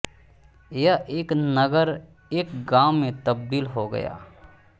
यह एक नगर एक गांव में तबदील हो गया